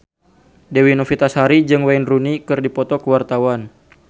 Dewi Novitasari jeung Wayne Rooney keur dipoto ku wartawan